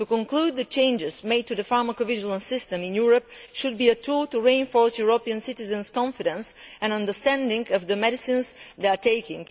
To conclude, the changes made to the pharmacovigilance system in Europe should be a tool to reinforce European citizens' confidence and understanding of the medicines they are taking.